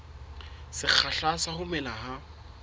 sekgahla sa ho mela ha